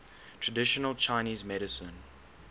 traditional chinese medicine